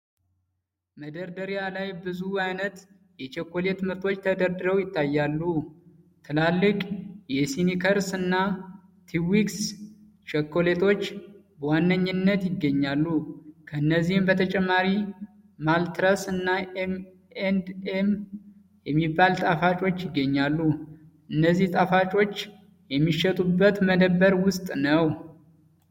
መደርደሪያ ላይ ብዙ ዓይነት የቸኮሌት ምርቶች ተደርድረው ይታያሉ። ትላልቅ የ'ስኒከርስ' እና 'ትዊክስ' ቸኮሌቶች በዋነኝነት ይገኛሉ። ከእነዚህም በተጨማሪ 'ማልተሰርስ' እና 'ኤም ኤንድ ኤም' የሚባሉ ጣፋጮች ይገኛሉ። እነዚህ ጣፋጮች የሚሸጡበት መደብር ውስጥ ነው።